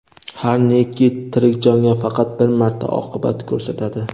har neki tirik jonga faqat bir marta oqibat ko‘rsatadi.